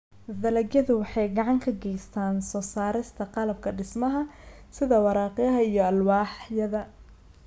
Dalagyadu waxay gacan ka geystaan ??soo saarista qalabka dhismaha sida waraaqaha iyo alwaaxyada.